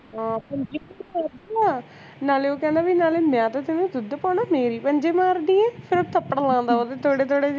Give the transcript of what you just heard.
ਹਾਂ ਨਾਲੇ ਉਹ ਕਹਿੰਦਾ ਵੀ ਨਾਲੇ ਮੈਂ ਤਾਂ ਤੈਂਨੂੰ ਦੁੱਧ ਪਾਉਂਦਾ ਆ ਮੇਰੇ ਈ ਪੰਜੇ ਮਾਰਦੀ ਐਂ ਫੇਰ ਥੱਪੜ ਲਾਂਦਾ ਓਹਦੇ ਥੋੜੇ ਥੋੜੇ ਜੇ